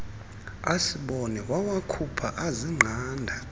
asibone wawakhupha azingqanda